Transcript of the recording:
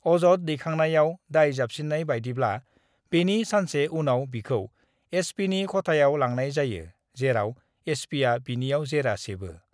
अजद दैखांनायाव दाय जाबसिनन्‍नाय बायदिब्ला, बेनि सानसे उनाव बिखौ एसपिनि ख'थायाव लांनाय जायो, जेराव एसपिआ बिनियाव जेरा सेबो।